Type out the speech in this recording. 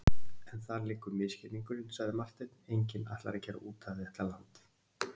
En þar liggur misskilningurinn, sagði Marteinn,-enginn ætlar að gera út af við þetta land.